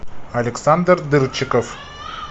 александр дырчиков